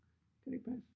Kan det ikke passe?